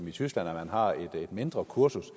i tyskland hvor man har et mindre kursus